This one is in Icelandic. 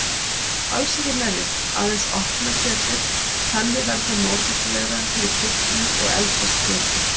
Alls ekki merja, aðeins opna kjötið, þannig verður það móttækilegra fyrir kryddinu og eldast betur.